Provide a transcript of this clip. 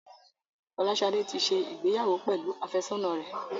Folashade tí ṣe ìgbéyàwó pẹlú afesona rẹ